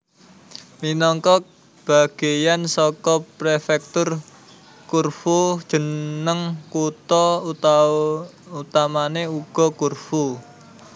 Minangka bagéyan saka Prefektur Corfu jeneng kutha utamané uga Corfu